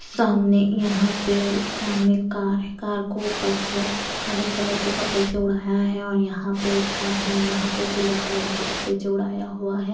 सामने यहां पे सामने कार है कार को ऊपर से काले कलर के कपड़े से ओढ़ाया है और यहां पे एक कार है वहां पे सिल्वर कलर के कपड़े चे ओढ़ाया हुआ है।